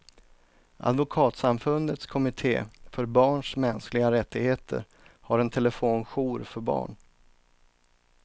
Advokatsamfundets kommitté för barns mänskliga rättigheter har en telefonjour för barn.